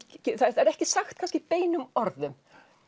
ekki sagt kannski beinum orðum